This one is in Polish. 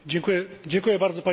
Panie Przewodniczący!